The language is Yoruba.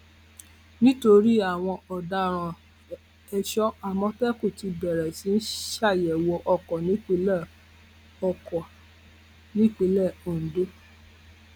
nítorí àwọn ọdaràn èso àmọtẹkùn ti bẹrẹ sí í ṣàyẹwò ọkọ nípìnlẹ ọkọ nípìnlẹ ondo